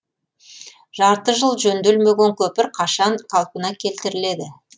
жарты жыл жөнделмеген көпір қашан қалпына келтіріледі